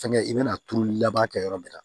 Fɛnkɛ i bɛna turuli laban kɛ yɔrɔ min na